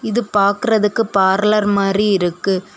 இது பாக்குறதுக்கு பார்லர் மாரி இருக்கு.